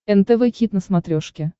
нтв хит на смотрешке